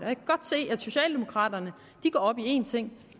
kan godt se at socialdemokraterne går op i en ting